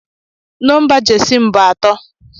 Nọmba Jesi m bụ atọ